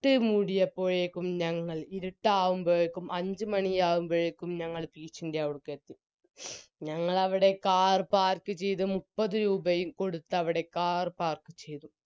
ട്ട് മൂടിയപ്പോഴേക്കും ഞങ്ങൾ ഇരുട്ടാവുമ്പോഴേക്കും അഞ്ച് മണിയാകുംവോഴേക്കും ഞങ്ങൾ beach ൻറെ അവിടക്ക് എത്തി ഞങ്ങളവിടെ car park ചെയ്ത മുപ്പത് രൂപയും കൊടുത്തവിടെ car park ചെയ്തു